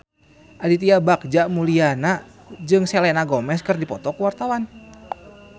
Aditya Bagja Mulyana jeung Selena Gomez keur dipoto ku wartawan